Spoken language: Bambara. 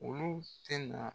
Olu tɛ na